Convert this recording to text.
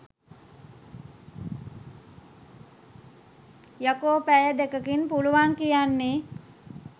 යකෝපැය දෙකකින් පුළුවන් කියන්නෙ